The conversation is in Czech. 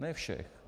Ne všech.